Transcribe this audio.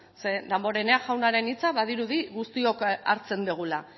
ze damborenea jaunaren hitza badirudi guztiok hartzen dugula